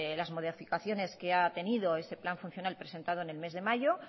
las modificaciones que ha tenido ese nuevo plan funcional presentado en el mes de mayo